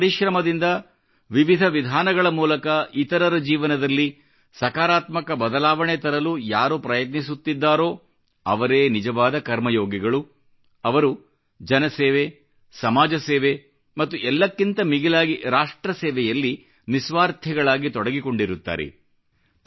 ತಮ್ಮ ಪರಿಶ್ರಮದಿಂದ ವಿವಿಧ ವಿಧಾನಗಳ ಮೂಲಕ ಇತರರ ಜೀವನದಲ್ಲಿ ಸಕಾರಾತ್ಮಕ ಬದಲಾವಣೆ ತರಲು ಯಾರು ಪ್ರಯತ್ನಿಸುತ್ತಿದ್ದಾರೋ ಅವರೇ ನಿಜವಾದ ಕರ್ಮಯೋಗಿಗಳು ಅವರು ಜನಸೇವೆ ಸಮಾಜ ಸೇವೆ ಮತ್ತು ಎಲ್ಲಕ್ಕಿಂತ ಮಿಗಿಲಾಗಿ ರಾಷ್ಟ್ರ ಸೇವೆಯಲ್ಲಿ ನಿಸ್ವಾರ್ಥಿಗಳಾಗಿ ತೊಡಗಿಕೊಂಡಿರುತ್ತಾರೆ